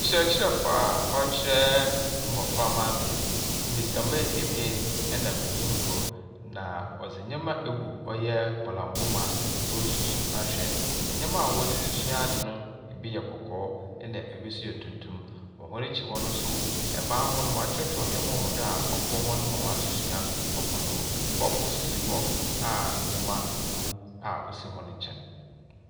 Kyerɛkyerɛfo a ɔrekyerɛ mboframba adze. Mbesia mba abien na benyin kor. Na ɔdze nyɛma agu ɔyɛ bɔlambɔ mu a ɔresusu ahwɛ. Nyɛma a wɔde resua ade no, ebi yɛ kɔkɔɔ na ebi yɛ tuntum. Wɔn akir hɔ no, ban ho wɔakyerɛkyerɛ nyɛma wɔ do a ɔboa hɔn ma w'adzesua kɔ do. Kɔɔpoo nso si hɔ a nyɛma wɔ mu a osi hɔn nkyɛn.